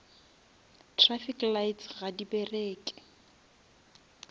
traffic lights ga di bereke